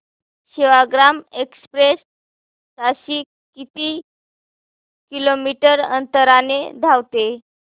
Sevagram express ताशी किती kilometre अंतराने धावते